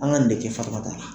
An ka nin de kɛ FATUMATA la.